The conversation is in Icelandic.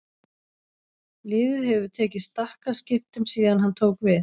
Liðið hefur tekið stakkaskiptum síðan hann tók við.